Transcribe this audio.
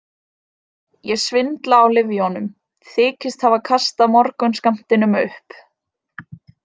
Ég svindla á lyfjunum, þykist hafa kastað morgunskammtinum upp.